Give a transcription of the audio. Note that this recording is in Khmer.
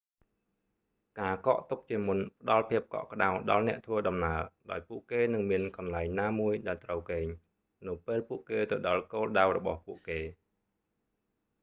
ការកក់ទុកជាមុនផ្តល់ភាពកក់ក្តៅដល់អ្នកធ្វើដំណើរ ដោយពួកគេនឹងមានកន្លែងណាមួយ ដែលត្រូវគេង នៅពេលពួកគេទៅដល់គោលដៅរបស់ពួកគេ